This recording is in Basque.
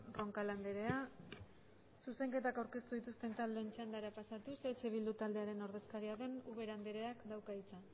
roncal andrea zuzenketak aurkeztu dituzten taldeen txandara pasatuz eh bildu taldearen ordezkaria den ubera andreak dauka hitza